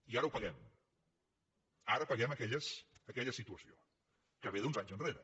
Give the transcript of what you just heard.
i ara ho paguem ara paguem aquella situació que ve d’uns anys enrere